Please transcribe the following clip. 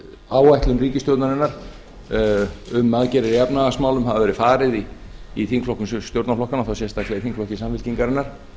áætlun ríkisstjórnarinnar um aðgerðir í efnahagsmálum hafi verið farið í þingflokkum stjórnarflokkanna og þá sérstaklega í þingflokki samfylkingarinnar